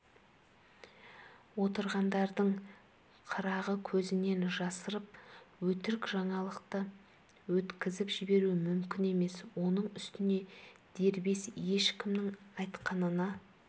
отырғандардың қырағы көзінен жасырып өтірік жаңалықты өткізіп жіберу мүмкін емес оның үстіне дербес ешкімнің айтқанына